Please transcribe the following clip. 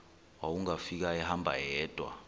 wawungafika ehamba yedwa